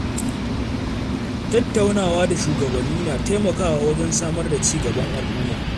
Tattaunawa da shugabanni na taimakawa wajen samar da ci gaban al'umma.